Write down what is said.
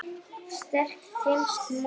Sterk tengsl móður og sonar.